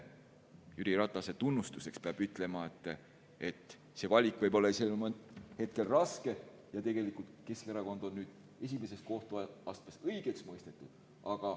Jüri Ratase tunnustuseks peab ütlema, et see valik ise võis olla sel hetkel raske, aga tegelikult Keskerakond on nüüd esimeses kohtuastmes õigeks mõistetud.